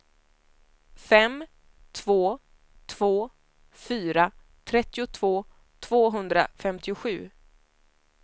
fem två två fyra trettiotvå tvåhundrafemtiosju